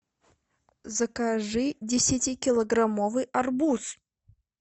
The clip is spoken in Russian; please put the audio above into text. закажи десятикилограммовый арбуз